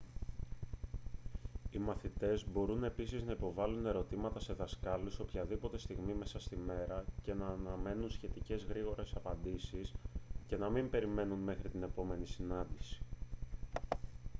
οι μαθητές μπορούν επίσης να υποβάλλουν ερωτήματα σε δασκάλους οποιαδήποτε στιγμή μέσα στη μέρα και να αναμένουν σχετικά γρήγορες απαντήσεις και να μην περιμένουν μέχρι την επόμενη συνάντηση